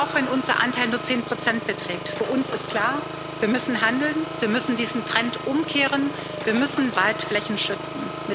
Auch wenn unser Anteil nur 10 beträgt, ist für uns klar Wir müssen handeln, wir müssen diesen Trend umkehren, wir müssen Waldflächen schützen!